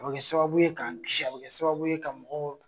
A bi kɛ sababu ye k'an kisi, a bi kɛ sababu ye ka mɔgɔw